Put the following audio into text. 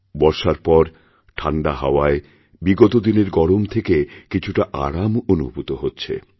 বর্ষার পর ঠাণ্ডা হাওয়ায় বিগত দিনের গরম থেকেকিছুটা আরাম অনুভূত হচ্ছে